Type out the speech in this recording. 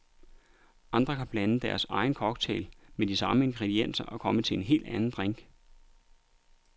Andre kan blande deres egen cocktail med de samme ingredienser og komme til en helt anden drink.